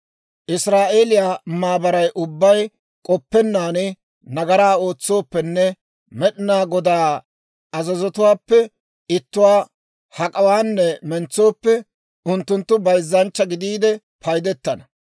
« ‹Israa'eeliyaa maabaray ubbay k'oppennaan nagaraa ootsooppenne, Med'inaa Godaa azazotuwaappe ittuwaa hak'awaanne mentsooppe, unttunttu bayzzanchcha gidiide paydetana.